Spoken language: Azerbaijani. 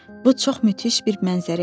Bu çox möhtəşəm bir mənzərə idi.